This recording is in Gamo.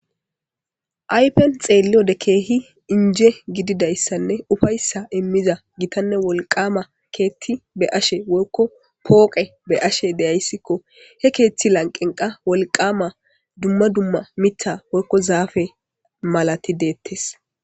Ayifen xeeliyode Keehi inje gididaysanne ufaysa imiza gitanne wolqama keeti be'ashe woykko pooqe be'ashe de'aysko. He keethi lanqeni qasi wolqama dumma dumma mithi woyko zaafe malat deetesi.